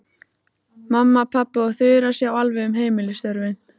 Mamma, pabbi og Þura sjá alveg um heimilisstörfin.